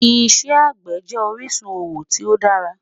Ìṣẹ̀ agbẹ́ jẹ orisun owo ti o dàrà